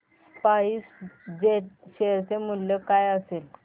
spice jet share चे मूल्य काय असेल